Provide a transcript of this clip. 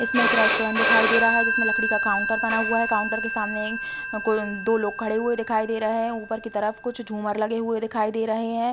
इसमें एक रेसटूएंट दिखाई दे रहा हैं जिसमें लकड़ी का काउंटर बना हुआ हैं। काउंटर के सामने एं कोई-न् दो लोग खड़े हुए दिखाई दे रहे है। ऊपर की तरफ कुछ झूमर लगे हुए दिखाई दे रहे हैं।